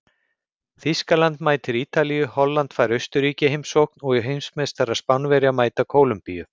Þýskaland mætir Ítalíu, Holland fær Austurríki í heimsókn og heimsmeistarar Spánverjar mæta Kólumbíu.